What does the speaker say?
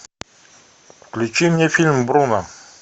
включи мне фильм бруно